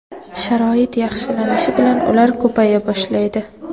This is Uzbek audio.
Sharoit yaxshilanishi bilan ular ko‘paya boshlaydi.